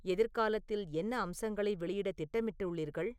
எதிர்காலத்தில் என்ன அம்சங்களை வெளியிட திட்டமிட்டுள்ளீர்கள்